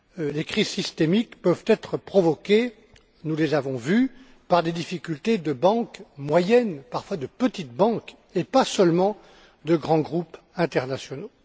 Les crises systémiques peuvent être provoquées nous l'avons vu par des difficultés de banques moyennes, parfois de petites banques, et pas seulement par de grands groupes internationaux.